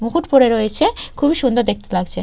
মুকুট পড়ে রয়েছে খুবই সুন্দর দেখতে লাগছে।